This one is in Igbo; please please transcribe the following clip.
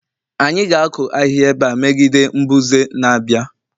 anyị ga-akụ ahịhịa ebe a megide mbuze na-abịa